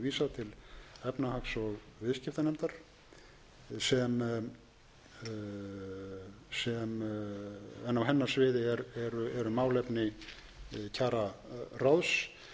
til að eftir þessa umræðu verði málinu vísað til efnahags og viðskiptanefndar en á hennar sviði eru málefni